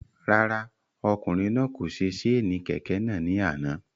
Rárá, ọkùnrin náà kò se séènì kẹ̀kẹ́ náà ni àná